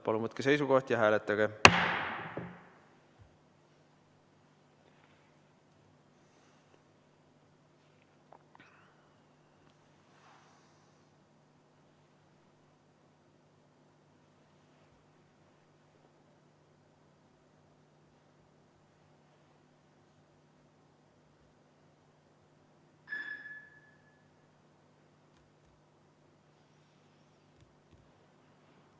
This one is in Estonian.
Palun võtke seisukoht ja hääletage!